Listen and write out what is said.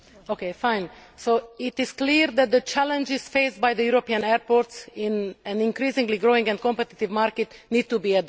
Mr President, it is clear that the challenges faced by the European airports in an increasingly growing and competitive market need to be addressed.